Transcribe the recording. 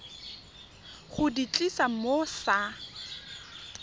go di tlisa mo sa